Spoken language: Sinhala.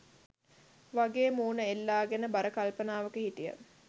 වගේ මූණ එල්ලගෙන බර කල්පනාවක හිටියා.